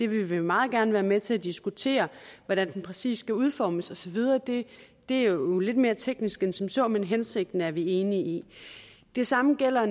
vi vil meget gerne være med til at diskutere hvordan den præcis skal udformes og så videre det er jo lidt mere teknisk end som så men hensigten er vi enige i det samme gælder